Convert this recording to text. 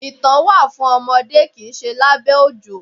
Ìtàn wà fún ọmọdé kìí ṣe lábẹ́ òjò.